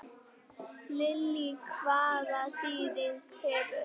Lillý: Hvaða þýðingu hefur þetta?